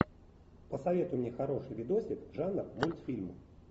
посоветуй мне хороший видосик жанра мультфильм